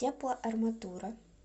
теплоарматура